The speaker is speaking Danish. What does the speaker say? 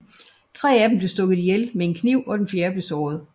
Tre af dem blev stukket ihjel med en kniv og den fjerde blev såret